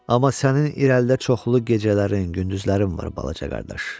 Amma sənin irəlidə çoxlu gecələrin, gündüzlərin var, balaca qardaş.